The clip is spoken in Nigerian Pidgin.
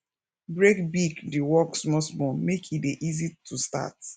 break big di work smallsmall make e dey easy too start